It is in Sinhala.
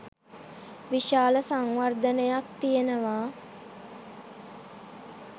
විශාල සංවර්ධනයක් තියෙනවා